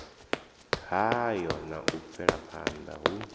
hayo na u bvelaphanda hu